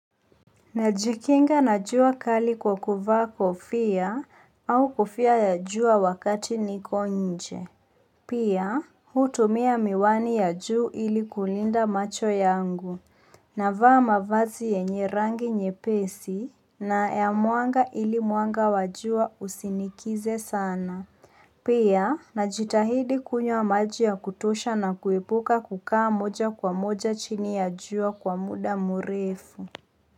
Najikinga na jua kali kwa kuvaa kofia au kofia ya jua wakati niko nje. Pia, hutumia miwani ya juu ili kulinda macho yangu, navaa mavazi yenye rangi nyepesi na ya mwanga ili mwanga wa jua usinikize sana. Pia, najitahidi kunywa maji ya kutosha na kuepuka kukaa moja kwa moja chini ya jua kwa muda mrefu.